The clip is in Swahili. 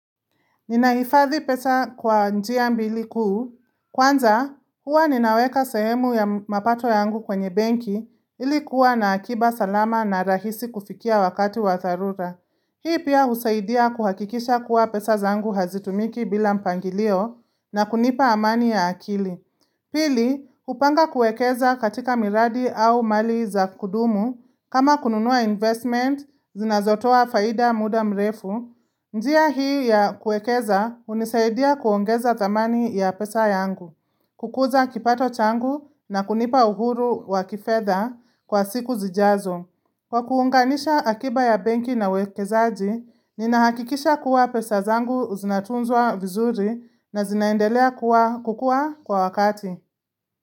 Ninaifadhi pesa kwa njia mbili kuu, kwanza huwa ninaweka sehemu ya mapato yangu kwenye banki ilikuwa na akiba salama na rahisi kufikia wakati wa tharura. Hii pia husaidia kuhakikisha kuwa pesa zangu hazitumiki bila mpangilio na kunipa amani ya akili. Pili, kupanga kuekeza katika miradi au mali za kudumu, kama kununua investment, zinazotoa faida muda mrefu, njia hii ya kuekeza hunisaidia kuongeza thamani ya pesa yangu, kukuza kipato changu na kunipa uhuru wa kifetha kwa siku zijazo. Kwa kuunganisha akiba ya benki na wekezaji, nina hakikisha kuwa pesa zangu zinatunzwa vizuri na zinaendelea kukua kwa wakati.